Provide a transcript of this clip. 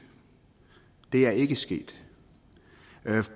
det er ikke sket